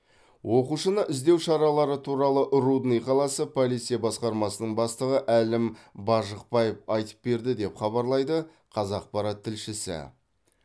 оқушыны іздеу шаралары туралы рудный қаласы полиция басқармасының бастығы әлім бажықбаев айтып берді деп хабарлайды қазақпарат тілшісі